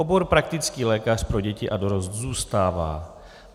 Obor praktický lékař pro děti a dorost zůstává.